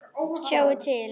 Sjáiði til!